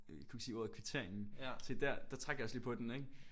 Øh kunne ikke sige ordet kvitteringen. Se dér der trak jeg også lige på den ikke?